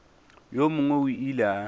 yo mongwe o ile a